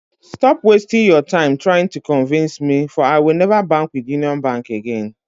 Stop waisting your time trying to convince me for I will never bank with Union Bank again